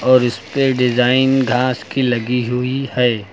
और इसपे डिजाइन घास की लगी हुई है।